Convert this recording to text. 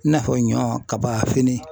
I n'a fɔ ɲɔ, kaba, fini